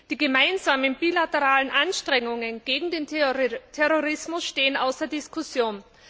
Die gemeinsamen bilateralen Anstrengungen gegen den Terrorismus stehen außer Diskussion.